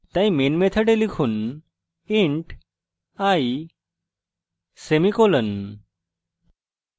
তাই main method লিখুন int i semicolon